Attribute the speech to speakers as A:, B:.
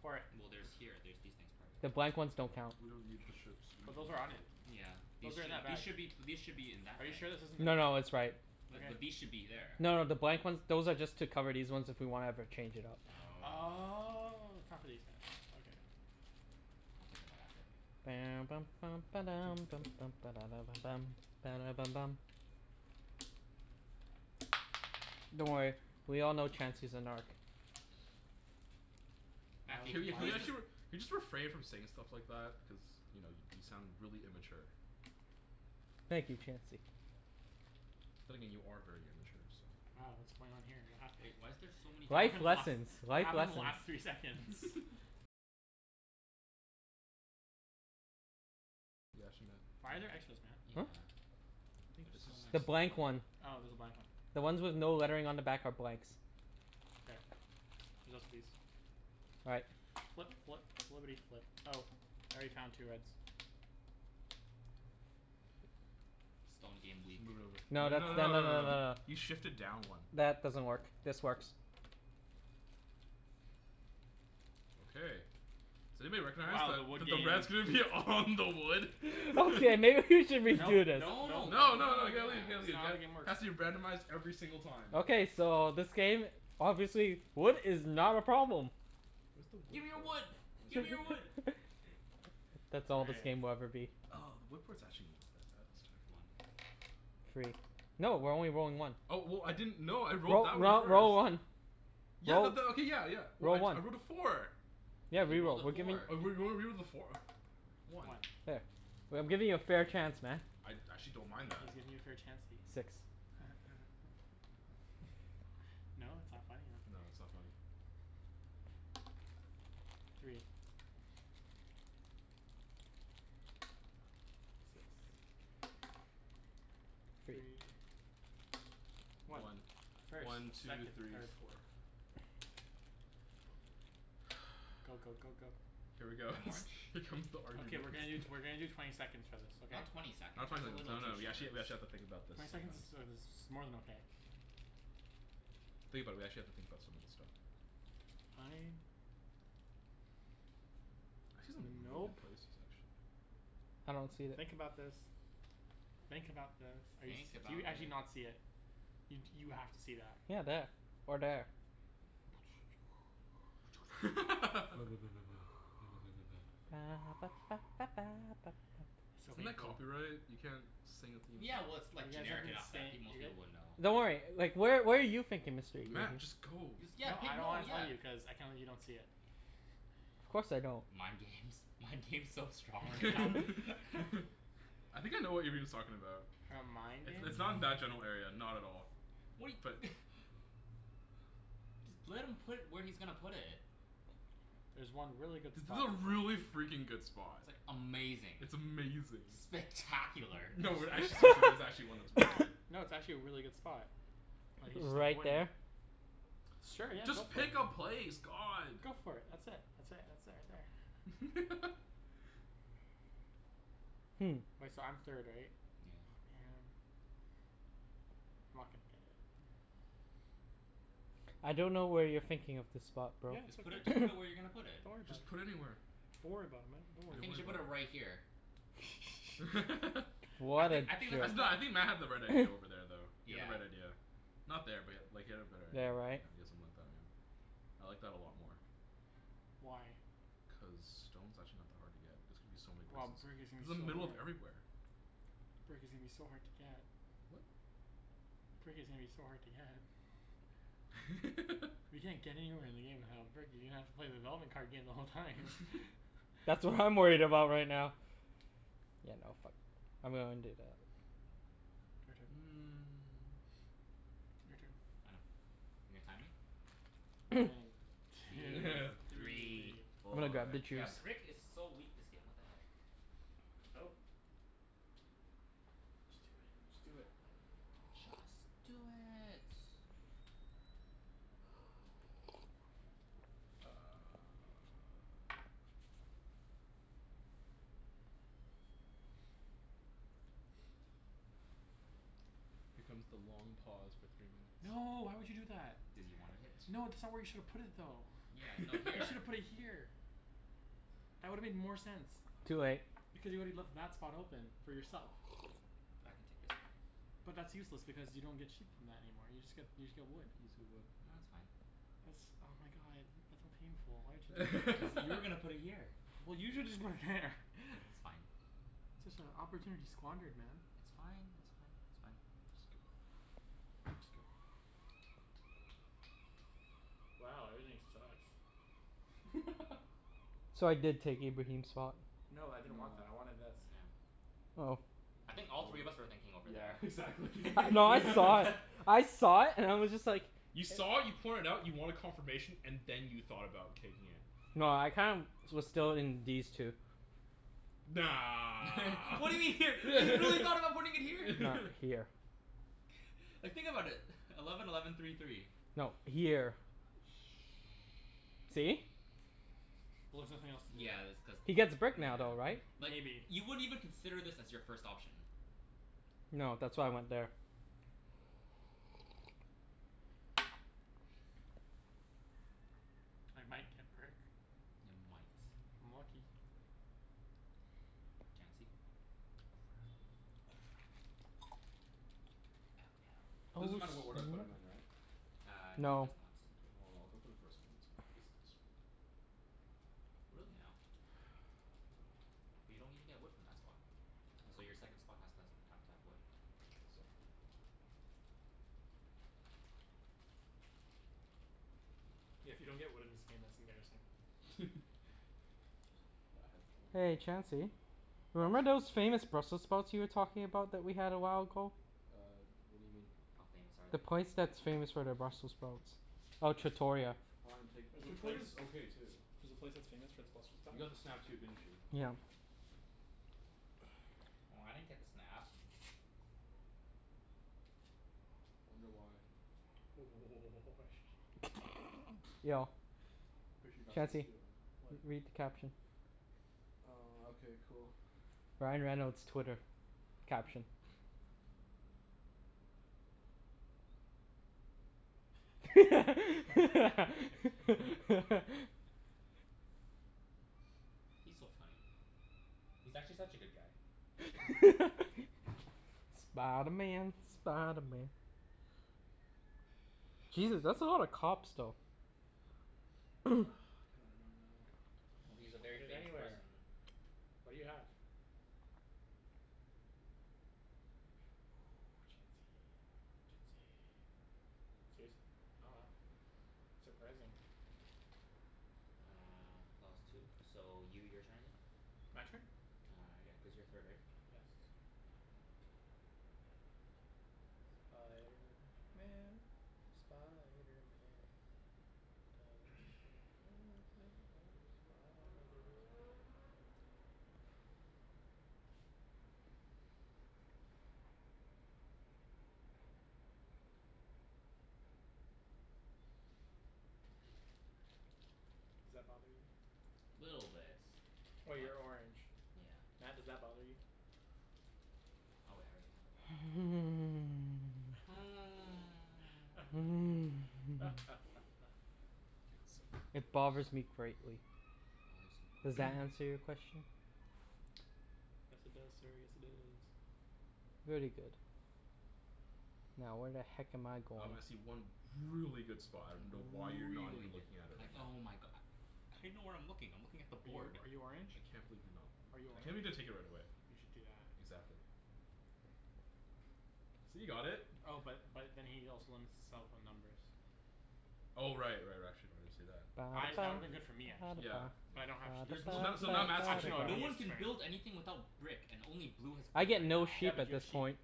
A: Pour it.
B: Well there's here, there's these things part of
C: The
B: it.
C: blank ones don't count.
D: We don't need the ships, we're
A: But
D: not
A: those
D: going
A: are
D: to
A: on
D: play
A: it.
D: with them.
B: Yeah. These
A: Those are in
B: should,
A: our
B: these
A: bags.
B: should be, these should be in that
A: Are you
B: bag.
A: sure this isn't the
C: No no, it's right.
A: Wait
B: Wait, but
A: but
B: these should be there.
C: No no, the blank ones, those are just to cover these ones if we wanna ever change it up.
B: Oh.
A: Oh, it's not for these guys, okay.
B: We'll take them out after.
C: Don't worry, we all know Chancey's a narc.
A: Oh
B: Matthew,
D: Can
B: can you
D: you can you
B: please
A: why
B: just
D: actually r- can you just refrain from saying stuff like that? Cuz you know y- you sound really immature.
C: Thank you Chancey.
D: But then again, you are very immature, so
A: Uh what's going on here? What happened?
B: Wait, why is there so many
A: What
C: Life
A: happened the last
C: lessons,
A: what
C: life
A: happened
C: lessons.
A: the last three seconds? Why are there extras, Matt?
B: Yeah,
C: Huh?
D: I think
B: there's
D: this
B: so
C: The
B: many.
C: blank
D: is one.
C: one.
A: Oh there's a blank one.
C: The ones with no lettering on the back are blanks.
A: K, there's also these.
C: All right.
A: Flip flip flippity flip. Oh, I already found two reds.
B: Stone game weak.
D: Move it over.
C: No
D: No no
C: that's,
D: no
C: tha- no
D: no
C: no
D: no
C: no no
D: no,
C: no.
D: you shifted down one.
C: That doesn't work, this works.
D: Okay, does anybody recognize
A: Wow, the wood
D: that the
A: games.
D: red's gonna be all on the wood?
C: Okay, maybe we should
A: Nope
C: redo this.
A: nope
B: No no, no
A: nope nope
D: No no no
A: nope.
D: you gotta leave it
B: yeah.
D: you gotta
A: It's
D: leave it
A: not how the
D: got
A: game works.
D: Has to be randomized every single time
C: Okay, so this game, obviously wood is not a problem.
D: Where's the wood
B: Gimme your
D: port?
B: wood!
D: Oh it's
B: Gimme your
D: right
B: wood!
D: there.
C: That's all this
A: Okay.
C: game will ever be.
D: Oh the wood port's actually not that bad this
B: One.
D: time.
C: Three. No, we're only rolling one.
D: Oh w- w- I didn't, no I rolled
C: Roll,
D: that one
C: roll,
D: first.
C: roll one.
D: Yeah
C: Roll,
D: but that, okay, yeah yeah,
C: roll one.
D: I rolled a four.
C: Yeah,
B: Yeah, he rolled
C: re-roll.
B: a
C: We're giving
B: four.
D: a four. Whatever, one.
A: One.
C: There. We- I'm giving you a fair chance, man.
D: I I actually don't mind
A: He's
D: that.
A: giving you a fair Chancey.
C: Six.
A: No? it's not funny? Okay.
D: No, it's not funny.
A: Three. Six.
C: Three.
A: Three. One.
D: One.
A: First,
D: One, two,
A: second,
D: three,
A: third,
D: four.
A: fourth. Go go go go.
D: Here we go
B: I'm orange.
D: Here comes the argument
A: Okay we're gonna do t- we're gonna do twenty seconds for this, okay?
B: Not twenty seconds.
D: Not twenty
B: That's a
D: seconds,
B: little
D: no
B: too
D: no, we
B: short.
D: actually we actually have to think about this
A: Twenty seconds
D: sometimes.
A: is uh is more than okay.
D: Think about it, we actually have to think about some of this stuff.
A: Fine.
D: I see some
A: N-
D: really good
A: nope.
D: places actually.
C: I don't see that.
A: Think about this. Think about this. Are you s-
B: Think
A: do you
B: about
A: actually
B: thi-
A: not see it? You d- you have to see that.
C: Yeah, there, or there.
A: So
D: Isn't that
A: painful.
D: copyright? You can't sing a theme
B: Yeah well,
D: song.
B: it's like
A: You guys have
B: generic
A: been
B: enough that
A: say-
B: pe- most
A: you guy-
B: people would know.
C: Don't worry, like where where are you thinking Mr. Ibrahim?
D: Matt, just go.
B: You s- yeah
A: No
B: pick,
A: I don't
B: no
A: wanna tell
B: yeah
A: you, cuz I can't believe you don't see it.
C: Of course I don't.
B: Mind games, mind games so strong right now.
D: I think I know what Ibrahim's talking about.
A: Mind
D: It's
A: games?
D: it's not in that general area, not at all,
B: What he
D: but
B: Just let him put where he's gonna put it.
A: There's one really good
D: It's
A: spot to
D: a
A: play.
D: really freakin' good spot.
B: Amazing.
D: It's amazing.
B: Spectacular.
D: No we're actually serious, there's actually one that's really good.
A: No, it's actually a really good spot. But he's just
C: Right
A: avoiding it.
C: there?
A: Sure, yeah, go
D: Just
A: for it.
D: pick a place, god.
A: Go for it. That's it, that's it, that's it right there.
C: Hmm.
A: Wait, so I'm third right?
B: Yeah.
A: Oh man. I'm not gonna get it.
C: I don't know where you're thinking of the spot bro.
A: Yeah, it's
B: Just
A: right
B: put it, just put it where you're gonna put
A: there.
B: it.
A: Don't worry about
D: Just
A: it.
D: put anywhere.
A: Don't worry about it man, don't
B: I
A: worry
D: Don't
A: about
B: think you
D: worry
B: should
A: it.
B: put
D: about
B: it
D: it.
B: right here. I
C: What a
B: think I think that's the
C: jerk.
D: No, I
B: spot.
D: think Matt had the right idea over there though. He had the
B: Yeah.
D: right idea. Not there but like he had a better idea,
C: There,
D: yeah
C: right?
D: you got something like that, yeah. I like that a lot more.
A: Why?
D: Cuz stone's actually not that hard to get. It's gonna be so many
A: Well,
D: places.
A: brick is
D: It's
A: gonna
D: in the
A: be so
D: middle of
A: hard.
D: everywhere.
A: Brick is gonna be so hard to get. Brick is gonna be so hard to get. You can't get anywhere in the game without brick, you're gonna have to play the development card game the whole time.
C: That's what I'm worried about right now. Yeah no fuck, I'm gonna undo that.
A: Your turn. Your turn.
B: I know. You're gonna time me?
A: One, two,
D: Three,
A: three.
C: I'm gonna
D: four
C: grab the
B: Yeah,
C: juice.
B: brick is so weak this game, what the heck.
A: Go. Just do it, just do it.
B: Just do it.
D: Here comes the long pause for three minutes.
A: No, why would you do that?
B: Cuz you wanted it.
A: No, that's not where you shoulda put it though.
B: Yeah, no,
A: You
B: here.
A: shoulda put it here. That would've made more sense,
C: Too late.
A: because you woulda left that spot open for yourself.
B: But I can take this back.
A: But that's useless because you don't get sheep from that anymore, you just get, you just get wood.
D: He needs to get
B: No,
D: wood.
B: it's fine.
A: That's, oh my god, that's so painful, why would you do that?
B: Cuz you were gonna put it here.
A: Well you shoulda just put it there
B: It's fine.
A: Such a opportunity squandered man.
B: It's fine, that's fine, it's fine. Just go.
D: Oops, go.
A: Wow, everything sucks.
C: So I did take Ibrahim's spot.
A: No, I didn't
D: No.
A: want that, I wanted this.
B: No.
C: Oh.
B: I think all
D: I
B: three of
D: would've,
B: us were thinking over
D: yeah
B: there.
D: exactly
C: No, I saw it. I saw it and I was just like
D: You saw it, you point it out, you wanted confirmation, and then you thought about taking it.
C: No, I kinda was still in these two.
D: Nah.
B: What do you mean here? You really thought about putting it here?
C: No, here.
B: Like think about it. Eleven eleven three three.
C: No, here.
B: Oh.
A: Shh,
C: See?
A: well there's nothing else to do.
B: Yeah that's cuz,
C: He gets brick now though, right?
B: nah Like
A: Maybe.
B: you wouldn't even consider this as your first option.
C: No, that's why I went there.
A: I might get brick.
B: Ya might.
A: If I'm lucky.
B: Chancey?
D: Crap.
B: Crap. Oh no.
C: Oh
D: Doesn't
C: snap.
D: matter what order I put 'em in right?
B: Uh no, it
C: No.
B: does not.
D: Mkay, well I'll go for the first one and get some
B: Really now? But you don't even get wood from that spot. So your second
D: I
B: spot has to has have
D: don't
B: to have wood.
D: get. Exactly.
A: Yeah, if you don't get wood in this game that's embarrassing.
D: Yeah, I had the one I'm
C: Hey
D: gonna put there.
C: Chancey.
D: What?
C: Remember those famous Brussels sprouts you were talking about that we had a while ago?
D: Uh what do you mean?
B: How famous are
C: The
B: they?
C: place that's famous for their Brussels sprouts. Oh, Trattoria.
D: Flying Pig,
A: There's a place,
D: Trattoria's okay too.
A: there's a place that's famous for its Brussels
D: You
A: sprouts?
D: got the snap too, didn't you?
C: Yeah.
B: Oh, I didn't get the snap.
D: Wonder why?
C: Yo
D: I'm pretty sure you're not supposed to
C: Chancey,
D: do it right now.
C: read
D: What?
C: the caption.
D: Uh okay cool.
C: Ryan Reynolds' Twitter. Caption.
B: He's so funny. He's actually such a good guy.
C: Spider Man, Spider Man. Jesus, that's a lot of cops though.
D: God, I don't know.
B: Well, he's a very
A: Put it
B: famous
A: anywhere.
B: person.
A: What do you have? Chancey, Chancey. Serious? Oh wow. Surprising.
B: Uh clause two. So you, your turn again.
A: My turn?
B: Uh yeah, cuz you're third right?
A: Yes. Spiderman, Spiderman. Does whatever a spider can. Does that bother you?
B: Little bit.
A: Oh,
B: But,
A: you're orange.
B: yeah.
A: Matt, does that bother you?
B: Oh wait, I already have a doubt.
C: It bothers me greatly.
B: Bothers him
C: Does
B: greatly.
C: that answer your question?
A: Yes it does sir, yes it does.
C: Very good. Now where the heck am I going?
D: Um I see one really good spot, I dunno why you're not
B: Really
D: even
B: good.
D: looking at it
B: Like
D: right now.
B: oh my go- How do you know where I'm looking? I'm looking at the
A: Are you
B: board.
A: are you orange?
D: I can't believe you're not
A: Are you
D: I
A: orange?
D: can't believe you didn't take it right away.
A: You should do that.
D: Exactly. See, you got it.
A: Oh but but then he also limits himself on numbers.
D: Oh right right, actually no I didn't see that.
A: I, that would've been good for me actually,
D: Yeah
A: but
D: yeah.
A: I don't have sheep
B: There's
A: so
B: no
D: Now, so
B: point.
D: now Matt's gonna
A: Actually
D: take
A: no, it
B: No
A: would've
D: it.
B: one
A: been
B: can build
A: useless for me.
B: anything without brick and only blue has
C: I
B: brick
C: get
B: right
C: no
B: now.
A: Yeah,
C: sheep
A: but
C: at
A: you have
C: this
A: sheep.
C: point.